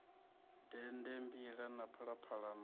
dende mbila na phalaphala na